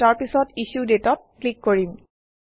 আৰু তাৰপিছত issue Date অত ক্লিক কৰিম